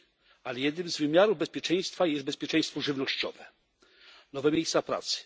Pamiętajmy, że jednym z wymiarów bezpieczeństwa jest bezpieczeństwo żywnościowe. Nowe miejsca pracy?